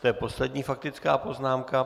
To je poslední faktická poznámka.